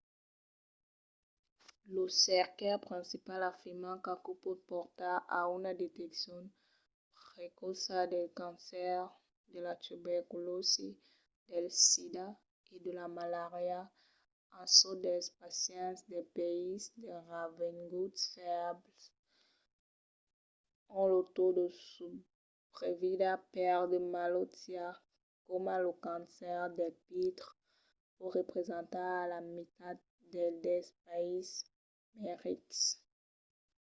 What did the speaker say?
los cercaires principals afirman qu'aquò pòt portar a una deteccion precòça del cancèr de la tuberculòsi del sida e de la malària en çò dels pacients dels païses de revenguts febles ont lo taus de subrevida per de malautiás coma lo cancèr del pitre pòt representar la mitat del dels païses mai rics